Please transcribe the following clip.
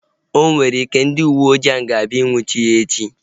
O nwere ike, ndị uwe ojii ga-abịa nnwuchie ya echi